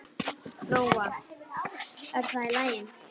Lóa: Er það í lagi?